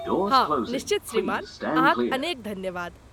हँ, निश्चित श्रीमान, अहाँक अनेक धन्यवाद।